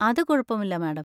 അത് കുഴപ്പമില്ല, മാഡം.